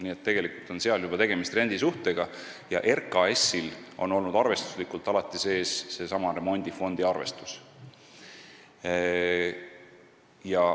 Nii et tegelikult on seal juba tegemist rendisuhtega ja RKAS-il on olnud arvestuslikult alati olemas seesama remondifondi arvestus.